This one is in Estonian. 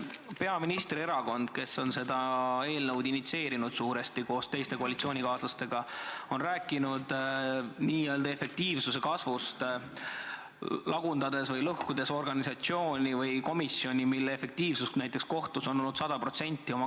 Peaministri erakond, kes on seda eelnõu suuresti koos koalitsioonikaaslastega initsieerinud, on rääkinud efektiivsuse kasvust, lõhkudes samas üksuse, mille kaasuste efektiivsus kohtus on olnud sada protsenti.